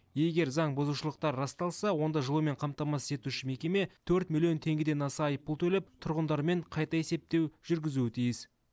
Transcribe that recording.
егер заңбұзушылықтар расталса онда жылумен қамтамасыз етуші мекеме төрт миллион теңгеден аса айыппұл төлеп тұрғындармен қайта есептеу жүргізуі тиіс